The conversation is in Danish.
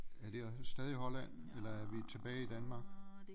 Er det også stadig Holland eller er vi tilbage i Danmark